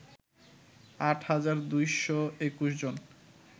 আট হাজার ২২১ জন